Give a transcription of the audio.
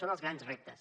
són els grans reptes